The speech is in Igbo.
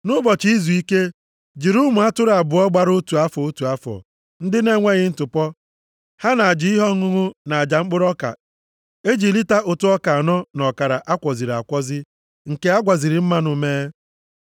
“ ‘Nʼụbọchị izuike, jiri ụmụ atụrụ abụọ gbara otu afọ, otu afọ, ndị na-enweghị ntụpọ, ha na aja ihe ọṅụṅụ na aja mkpụrụ ọka e ji lita ụtụ ọka anọ na ọkara a kwọziri akwọzi, nke a gwaziri mmanụ mee.